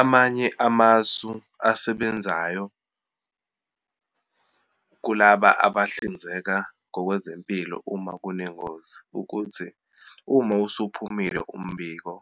Amanye amasu asebenzayo kulaba abahlinzeka ngokwezempilo uma kunengozi, ukuthi uma usuphumile umbiko,